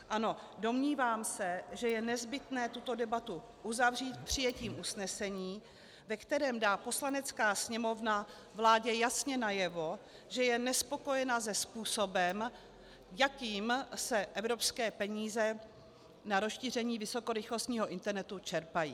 Ano, domnívám se, že je nezbytné tuto debatu uzavřít přijetím usnesení, ve kterém dá Poslanecká sněmovna vládě jasně najevo, že je nespokojená se způsobem, jakým se evropské peníze na rozšíření vysokorychlostního internetu čerpají.